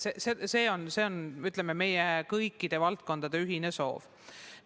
See on kõikide valdkondade ühine soov.